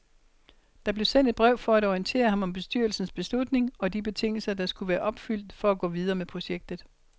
Der blev sendt et brev for at orientere ham om bestyrelsens beslutning og de betingelser, der skulle være opfyldt for at gå videre med projektet.